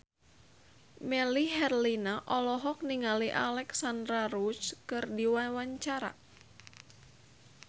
Melly Herlina olohok ningali Alexandra Roach keur diwawancara